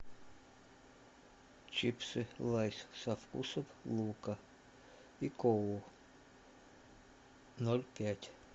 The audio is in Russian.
чипсы лейс со вкусом лука и колу ноль пять